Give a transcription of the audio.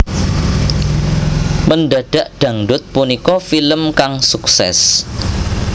Mendadak Dangdut punika film kang sukses